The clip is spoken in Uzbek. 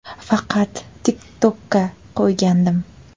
Faqat TikTok’ka qo‘ygandim.